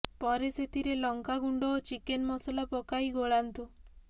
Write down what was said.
ପରେ ସେଥିରେ ଲଙ୍କା ଗୁଣ୍ଡ ଓ ଚିକେନ୍ ମସଲା ପକାଇ ଗୋଳାନ୍ତୁ